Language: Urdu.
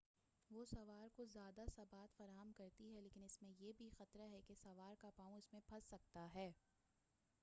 وہ سوار کو زیادہ ثبات فراہم کرتی ہے لیکن اس میں یہ بھی خطرہ ہے کہ سوار کا پاؤں اس میں پھنس سکتا ہے